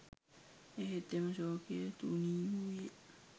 එහෙත් එම ශෝකය තුනීවූයේ